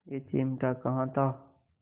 यह चिमटा कहाँ था